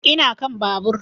Ina kan babur